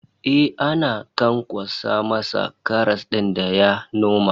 Eh, ana kan kwaso masa karas din da ya noma